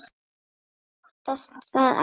Ég óttast það ekki.